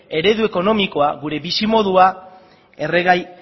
eredu ekonomikoa gure bizimodua erregai